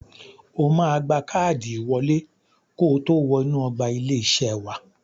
O máa gba káàdì ìwọlé kotó wọ inú ọgbà ilé-iṣé wa.